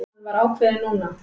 Hann var ákveðinn núna.